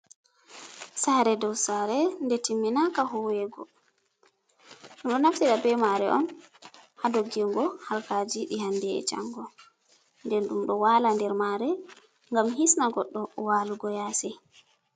Saare doo saare nde timminaaka huweego, ɗum ɗo naftira be maare on Haa doggingo harkaaji ɗi hande e jango, nden ɗum ɗo waala nder maare, ngam hisna goɗɗo waalugo yaasi.